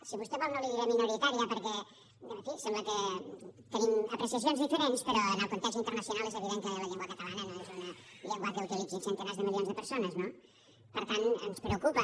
si vostè vol no li diré minoritària perquè en fi sembla que tenim apreciacions diferents però en el context internacional és evident que la llengua catalana no és una llengua que utilitzin centenars de milions de persones no per tant ens preocupa